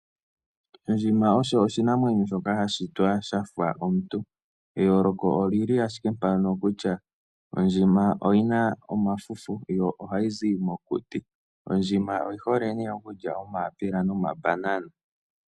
Ondjima osho oshinamwenyo shoka sha shitwa sha fa omuntu. Eyooloko oli li ashike mpano kutya ondjima oyi na omafufu yo ohayi zi mokuti. Ondjima oyi hole nee okulya omayapela nomabanana.